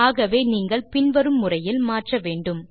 ஆகவே நீங்கள் பின் வரும் முறையில் மாற்ற வேண்டும்